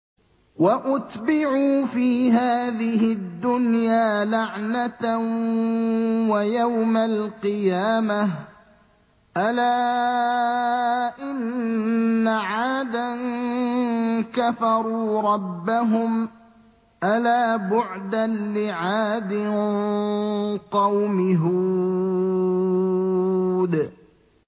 وَأُتْبِعُوا فِي هَٰذِهِ الدُّنْيَا لَعْنَةً وَيَوْمَ الْقِيَامَةِ ۗ أَلَا إِنَّ عَادًا كَفَرُوا رَبَّهُمْ ۗ أَلَا بُعْدًا لِّعَادٍ قَوْمِ هُودٍ